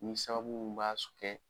Ni sababu mun b'a s kɛ